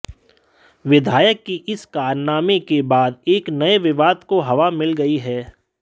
विधायक की इस कारनामे के बाद एक नए विवाद को हवा मिल गई है